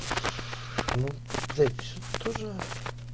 ну блять тоже